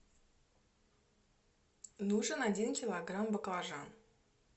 нужен один килограмм баклажан